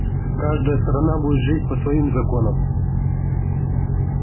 каждая сторона будет жить по своим законам